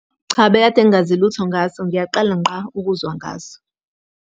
Cha bekade ngingazi lutho ngaso, ngiyaqala ngqa ukuzwa ngaso.